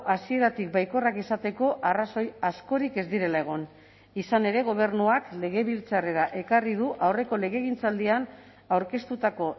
hasieratik baikorrak izateko arrazoi askorik ez direla egon izan ere gobernuak legebiltzarrera ekarri du aurreko legegintzaldian aurkeztutako